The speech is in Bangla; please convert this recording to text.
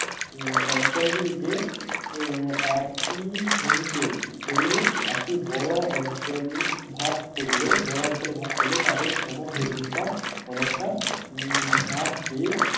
উম অঞ্চল গুলিকে উহ একটি শ্রেণীতে ফেলে একটি বড় অঞ্চল ভাগ করলে বড় অঞ্চলে ভাগ করলে তাদের সমধর্মিতা অনেকটা উম হ্রাস পেয়ে